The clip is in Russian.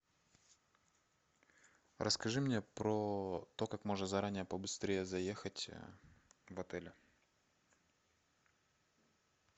расскажи мне про то как можно заранее побыстрее заехать в отеле